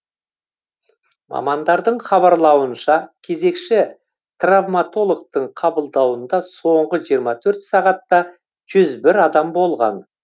мамандардың хабарлауынша кезекші травматологтың қабылдауында соңғы жиырма төрт сағатта жүз бір адам болған